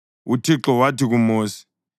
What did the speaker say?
UThixo wathi kuMosi,